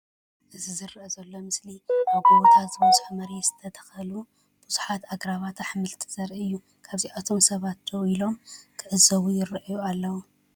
እዚ ዝረአ ዘሎ ምስሊ ኣብ ጎቦታት ዝበዝሖ መሬት ዝተተኽሉ ብዙሓት ኣግራብ ኣሕምልቲ ዘርኢ እዩ። ካብዚኦም ሰባት ደው ኢሎም ክዕዘቡ ይረኣዩ ኣለው።